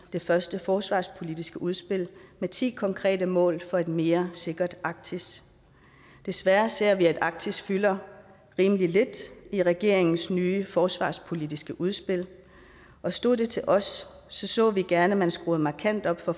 det første forsvarspolitiske udspil med ti konkrete mål for et mere sikkert arktis desværre ser vi at arktis fylder rimelig lidt i regeringens nye forsvarspolitiske udspil og stod det til os så så vi gerne at man skruede markant op for